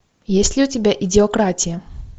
есть ли у тебя идиократия